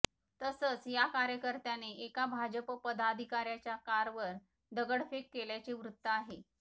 तसंच या कार्यकर्त्याने एका भाजप पदाधिकाऱ्याच्या कारवर दगडफेक केल्याचे वृत्त आहे